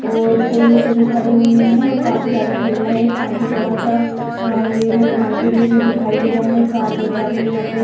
और कोई ऐसे भी खड़े हैं काफी सारा ठेला है काफी बड़ा सा ये जो मार्केट जैसा दिखाई दे रहा है कार वगैरा भी यहाँ पे --